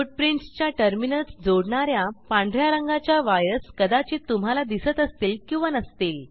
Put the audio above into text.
footprintsच्या terminals जोडणा या पांढ या रंगाच्या वायर्स कदाचित तुम्हाला दिसत असतील किंवा नसतील